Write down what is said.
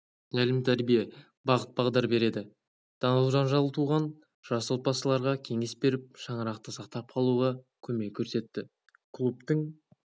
тәлім-тәрбие бағыт-бағдар береді дау-жанжал туған жас отбасыларға кеңес беріп шаңырақты сақтап қалуға көмек көрсетті клубдың